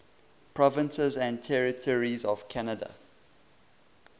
provinces and territories of canada